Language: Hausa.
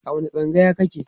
a wani tsangayar kake?